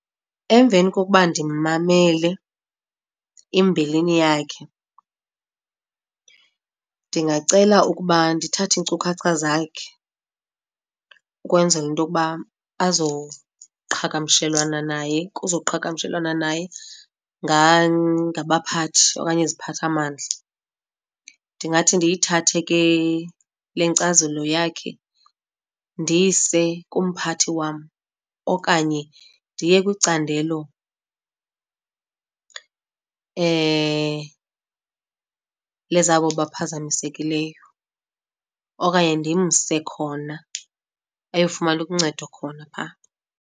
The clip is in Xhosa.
Emveni kokuba ndimmamele imbilini yakhe ndingacela ukuba ndithathe iinkcukacha zakhe ukwenzela into yokuba azoqhagamshelwana naye, kuzoqhagamshelwana naye ngabaphathi okanye iziphathamandla. Ndingathi ndiyithathe ke le nkcazelo yakhe ndiyise kumphathi wam okanye ndiye kwicandelo lezabo baphazamisekileyo okanye ndimse khona ayofumana uncedo khona phaa.